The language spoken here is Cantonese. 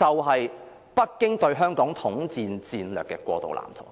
而是北京對香港統戰戰略的過渡藍圖。